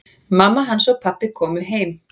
Mamma hans og pabbi komu heim.